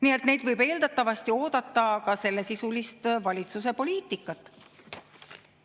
Nii et neilt võib eeldatavasti oodata ka sellesisulist valitsuse poliitikat.